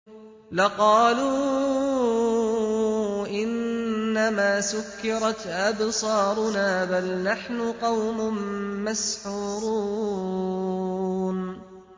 لَقَالُوا إِنَّمَا سُكِّرَتْ أَبْصَارُنَا بَلْ نَحْنُ قَوْمٌ مَّسْحُورُونَ